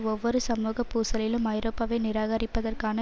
ஒவ்வொரு சமூக பூசலிலும் ஐரோப்பாவை நிராகரிப்பதற்கான